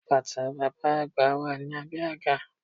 Bàtà bàbá àgbà wà ní abé àga